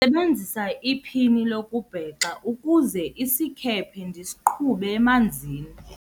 sebenzise iphini lokubhexa ukuze isikhephe ndisiqhube emanzini